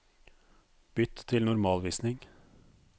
Bytt til normalvisning